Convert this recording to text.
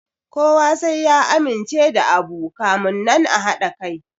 Kowa sai ya amince da abu kamun nan a haɗa kai